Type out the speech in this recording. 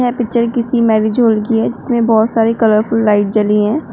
यह पिक्चर किसी marriage hall की है जिसमे बहोत सारे कलरफुल लाइट जल रही है।